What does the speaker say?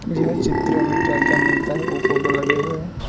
यह चित्र मे क्या क्या मिलता है वो फोटो लगे हुए है।